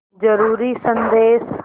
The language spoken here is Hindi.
ज़रूरी संदेश